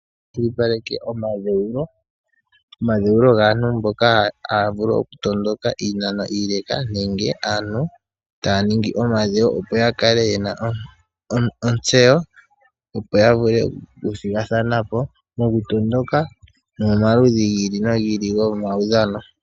Otaya kwashili paleke omadhewulo ,omadhewulo gaantu mboka haya vulu oku tondoka iinano ile nenge aantu taya ningi omadhewo opo yakale yena ontseyo opo ya vule oku thigathana po moku tondoka nomo maludhi gi ili nogi ili gomawudhano.